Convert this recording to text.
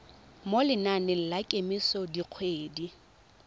mo lenaneng la kemiso dikgwedi